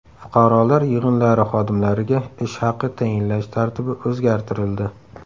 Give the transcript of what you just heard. Fuqarolar yig‘inlari xodimlariga ish haqi tayinlash tartibi o‘zgartirildi.